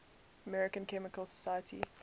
american chemical society